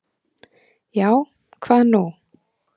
Já, hvað nú?